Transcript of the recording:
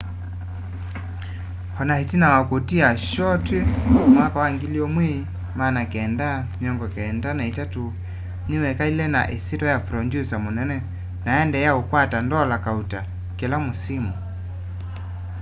o na itina wa kutia shoo twi 1993 niwekalile na isyitwa ya producer munene na aendeea ukwata ndola kauta kîla mûsimû